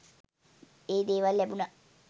ඒ දේවල් ලැබුණා